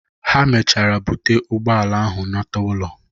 Ha mechara bute ụgbọala ahụ nata ụlọ.